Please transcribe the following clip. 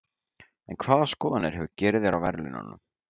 En hvaða skoðanir hefur Gyrðir á verðlaununum?